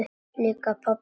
Lík pabba?